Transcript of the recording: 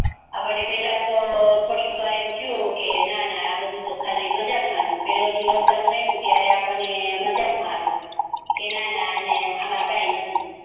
આપડને પેલા થોડી વાર તો એમ થયું કે આ બધુ તો ખાલી મજાક માજ પેલું જે લોક ડાઉન આયુ ત્યારે આપડને મજાક મા હતુ કે નાના આમાં કય નથી